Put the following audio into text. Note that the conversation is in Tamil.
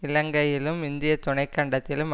இலங்கையிலும் இந்திய துணைக்கண்டத்திலும்